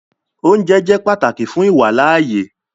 Òunjẹ jẹ́ pátákì fún iwálaàyè